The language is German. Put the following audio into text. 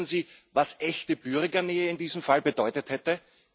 Kollegen, wissen Sie, was echte Bürgernähe in diesem Fall bedeutet hätte?